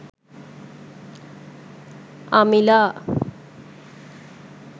amila